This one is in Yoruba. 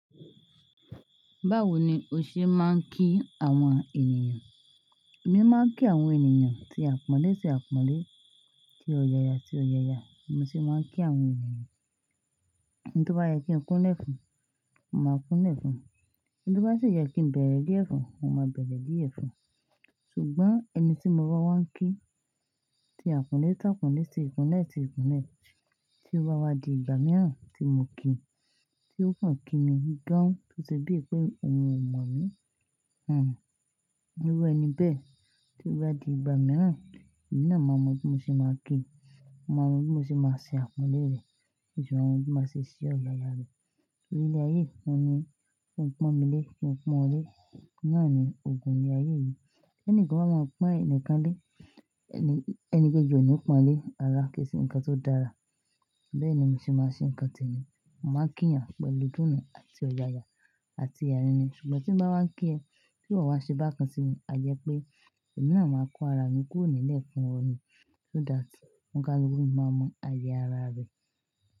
Báwo ni o ṣe máa ń kí àwọn ènìyàn? Èmi máa ń kí àwọn ènìyàn tí àpọ́nlé ti àpọ́nlé, tí ọ̀yàyà ti ọ̀yàyà. Mo sì máa ń kí àwọn ènìyàn, eni tí ó bá yẹ kí n kúnlẹ̀ fún, mo máa kúnlẹ̀ fún. Tí ó bá sì yẹ kí n bẹ̀rẹ̀ die fun, mo máa bẹ̀rẹ̀ die fun. Ṣùgbọ́n ẹni tí mo ba wá ń kí tí àpọ́nlé ti àpọ́nlé, tí ìkúnlẹ̀ ti ìkúnlẹ̀, tí ó wá wá di ìgbà mìíràn tí mo kíi, tí ó kan kí mi ganhùn tó ṣe bíi pé òun ò mọ̀ mí. Hmm. Irú ẹni bẹ́ẹ̀ tí ó bá di ìgbà mìíràn, èmi náà máa mọ bí mo ṣe máa kíi. Ó máa mọ bí mo ṣe máa ṣe àpọ́nlé rẹ̀, bí ṣe àwọn tó máa ṣe ṣí ọ̀yàyà rẹ̀. Nílé ayé, wọ́n ni kí n pọ́n mi lé, kí n pọ́n wọ́n lé. Nàá ni ogún ní ayé yìí. Ti eni kan ba máa ń pọ́n ẹnìkan lé, ẹni kejì ò ní pọ́n lé, rara kì se ǹkan tó dára. Bẹ́ẹ̀ ni mo ṣe máa ń ṣe ǹkan tẹni. Mo máa ń kí eeyàn pẹ̀lú idunu àti ọ̀yàyà àti-- Ṣùgbọ́n tí mo bá wá ń kí ẹ, tí ìwọ wá ṣe bákan sí mi, a jẹ́ pé èmi náà máa kó ara mi kúrò nílẹ̀ fún ọ ni. So that, onikaluku máa mọ àyè ara rẹ.